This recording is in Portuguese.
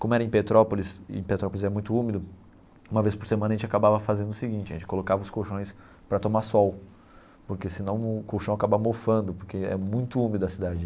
Como era em Petrópolis, e em Petrópolis é muito úmido, uma vez por semana a gente acabava fazendo o seguinte, a gente colocava os colchões para tomar sol, porque senão o colchão acaba mofando, porque é muito úmida a cidade.